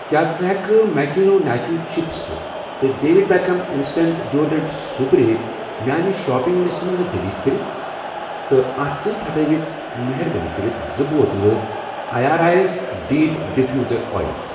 کیٛاہ ژٕ ہٮ۪کہٕ ماکیٖنو ناچو چِپس تہٕ David Beckham instinct deodorant spray میاٛنہِ شاپِنٛگ لِسٹہٕ منٛزٕ ڈلیٖٹ کٔرِتھ ؟ تہٕ اتھ سۭتی ہٹاو مہربٲنی کٔرِتھ زٕ بوتلہٕ آیرِس ریٖٚڈ ڈِفیوٗزر اویل۔